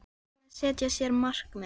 Hvað með að setja sér markmið?